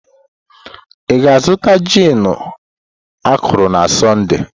Ị ga-azụta gin akọrọ na Sọnde?